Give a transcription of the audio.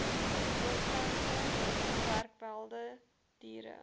blomplante gewerwelde diere